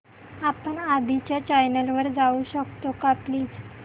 आपण आधीच्या चॅनल वर जाऊ शकतो का प्लीज